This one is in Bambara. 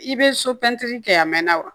I bɛ so pɛntiri kɛ a mɛnna wa